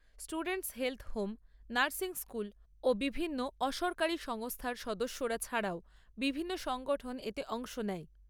, Nursing school ও বিভিন্ন অসরকারী সংস্থার সদস্যরা ছাড়াও বিভিন্ন সংগঠন এতে অংশ নেয়।